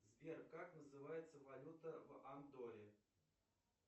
сбер как называется валюта в андорре